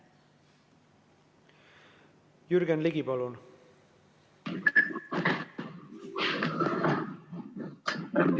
Jürgen Ligi, palun!